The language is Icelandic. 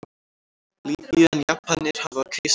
Lýbíu en Japanir hafa keisara.